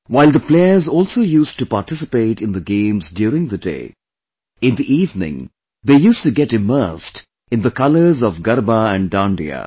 While the players also used to participate in the games during the day; in the evening they used to get immersed in the colors of Garba and Dandiya